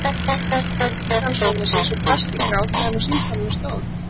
Hún spurði um líðan sonar síns og brast í grát meðan á símtalinu stóð.